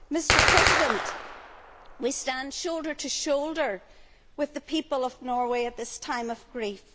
Mr President, we stand shoulder to shoulder with the people of Norway at this time of grief.